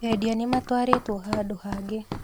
Endia nĩmatwarĩtwo handũ hangĩ